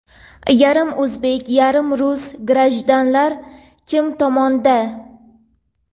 Yarim o‘zbek, yarim rus "grajdan"lar kim tomonda?.